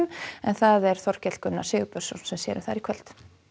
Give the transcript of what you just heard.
það er Þorkell Gunnar Sigurbjörnsson sem sér um þær í kvöld